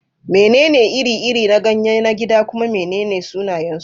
Menene iri-iri na ganye na gida kuma menene sunayensu?